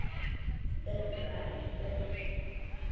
Húrra, húrra!